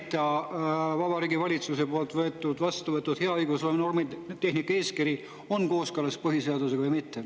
… kus ei järgita Vabariigi Valitsuse poolt vastu võetud hea õigusloome ja normitehnika eeskirja, on kooskõlas põhiseadusega või mitte.